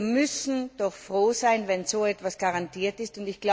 Wir müssen doch froh sein, wenn so etwas garantiert ist.